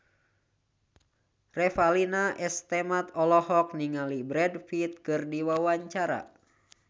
Revalina S. Temat olohok ningali Brad Pitt keur diwawancara